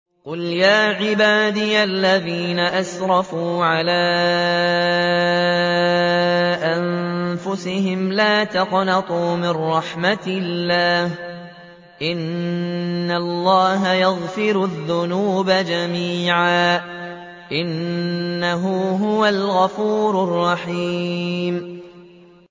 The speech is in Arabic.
۞ قُلْ يَا عِبَادِيَ الَّذِينَ أَسْرَفُوا عَلَىٰ أَنفُسِهِمْ لَا تَقْنَطُوا مِن رَّحْمَةِ اللَّهِ ۚ إِنَّ اللَّهَ يَغْفِرُ الذُّنُوبَ جَمِيعًا ۚ إِنَّهُ هُوَ الْغَفُورُ الرَّحِيمُ